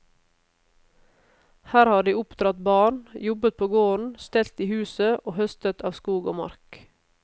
Her har de oppdratt barn, jobbet på gården, stelt i huset og høstet av skog og mark.